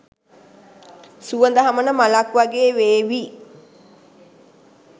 සුවඳ හමන මලක් වගේ වේවි.